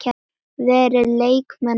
Verða leikmenn áfram?